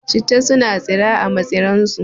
Citta suna tsira a matsi ran su